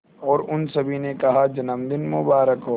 और उन सभी ने कहा जन्मदिन मुबारक हो